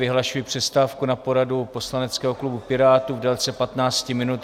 Vyhlašuji přestávku na poradu poslaneckého klubu Pirátů v délce 15 minut.